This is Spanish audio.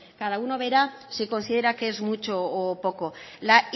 cada uno verá si considera que es mucho o poco la